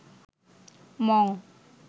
Mong